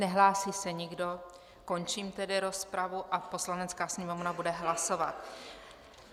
Nehlásí se nikdo, končím tedy rozpravu a Poslanecká sněmovna bude hlasovat.